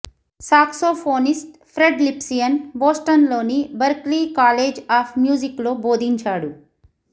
saxophonist Fred Lipsius బోస్టన్లోని Berklee College of మ్యూజిక్లో బోధించాడు